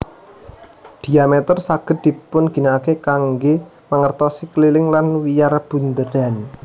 Dhiameter saged dipunginakaken kanggé mangertosi keliling lan wiyar bunderan